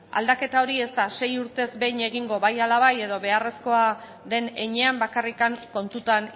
aldaketa hori ez da sei urtez behin egingo bai ala bai edo beharrezkoa den heinean bakarrik kontutan